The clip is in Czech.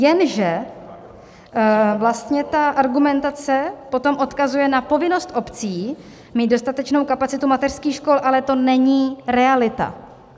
Jenže vlastně ta argumentace potom odkazuje na povinnost obcí mít dostatečnou kapacitu mateřských škol, ale to není realita.